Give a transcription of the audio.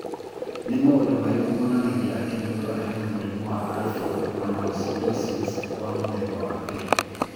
Nĩ maũndũ marĩkũ monanagia atĩ mũndũ arĩ na mũrimũ wa Alpha mannosidosis wa mũthemba wa mbere?